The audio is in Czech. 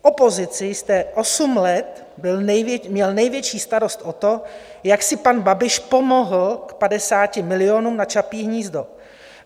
V opozici jste osm let měl největší starost o to, jak si pan Babiš pomohl k 50 milionům na Čapí hnízdo.